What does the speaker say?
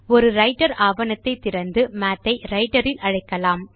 ஒரு ரைட்டர் ஆவணத்தை திறந்து மாத் ஐ ரைட்டர் இல் அழைக்கலாம்